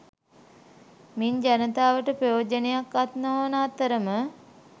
මින් ජනතාවට ප්‍රයෝජනයක් අත් නොවන අතරම